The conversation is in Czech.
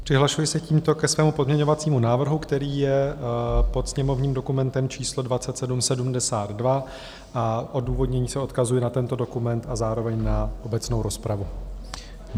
Přihlašuji se tímto ke svému pozměňovacímu návrhu, který je pod sněmovním dokumentem číslo 2772, a v odůvodnění se odkazuji na tento dokument a zároveň na obecnou rozpravu.